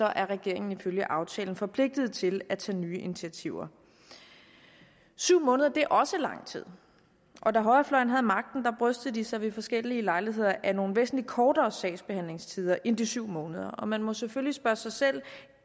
er regeringen ifølge aftalen forpligtet til at tage nye initiativer syv måneder er også lang tid og da højrefløjen havde magten brystede de sig ved forskellige lejligheder af nogle væsentligt kortere sagsbehandlingstider end de syv måneder man må selvfølgelig spørge sig selv